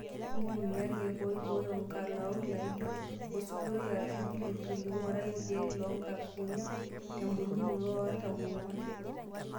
Ntumia irkiek oibooyo nkalaok laijio osuguroi arashu pili pili (ng'urai irkiek loo nkukuni tembolunoto e artam oong'wan).